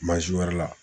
wɛrɛ la